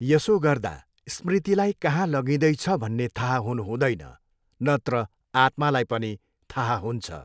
यसो गर्दा स्मृतिलाई कहाँ लगिँदैछ भन्ने थाहा हुनुहुँदैन, नत्र आत्मालाई पनि थाहा हुन्छ।